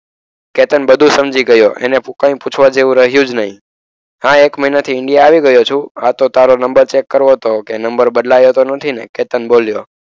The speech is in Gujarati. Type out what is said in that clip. કેતન બધું સમજી ગયો. એને કંઈ પૂછવા જેવું રહ્યું જ નહીં. આ એક મહિનાથી ઇન્ડિયા આવી ગયો છું. આ તો તારો નંબર ચેક કરવો હતો કે નંબર બદલાયો તો નથી ને? કેતન બોલ્યો.